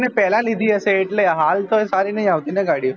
તેમને પેલા લીધી હશે એટલે હાલ તો સારી નહિ આવતી ને ગાડી